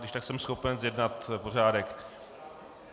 Když tak jsem schopen zjednat pořádek.